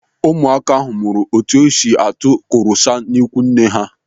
Ụmụaka ahụ mụrụ etu esi atụ korosa n'ikwu nne ha.